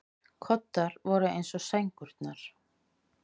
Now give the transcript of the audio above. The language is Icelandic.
Koddar voru eins og sængurnar.